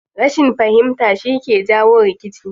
Rashin fahimta shi ke jawo rikici.